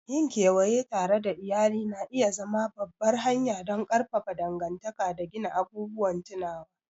Yin kewaye tare da iyali na iya zama babbar hanya don ƙarfafa dangantaka da gina abubuwan tunawa.